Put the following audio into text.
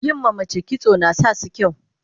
yin ma mace kitso nasasu yin kyau